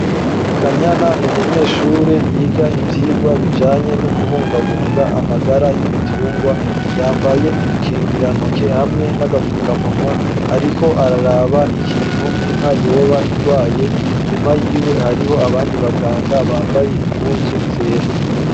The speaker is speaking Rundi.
Kanyana ni umunyeshure, yiga ivyigwa bijanye n'ukubungabunga amagara y'ibitungwa, yambaye udukingirantoke hamwe n'agapfukamunwa, ariko araraba ikintu inka yoba igwaye, inyuma yiwe hariho abandi baganga, bambaye impuzu zera.